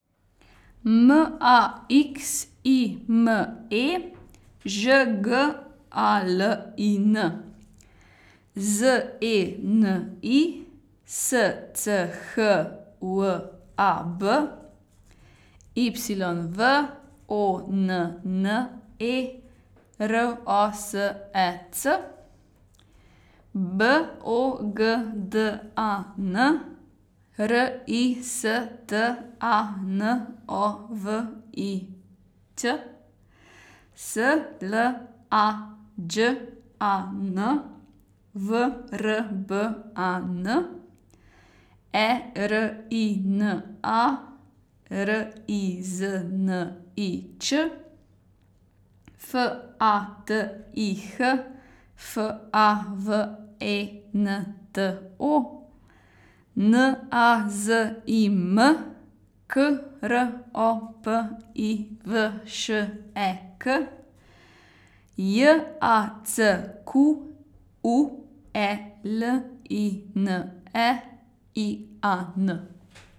M A X I M E, Ž G A L I N; Z E N I, S C H W A B; Y V O N N E, R O S E C; B O G D A N, R I S T A N O V I Ć; S L A Đ A N, V R B A N; E R I N A, R I Z N I Č; F A T I H, F A V E N T O; N A Z I M, K R O P I V Š E K; J A C Q U E L I N E, I A N.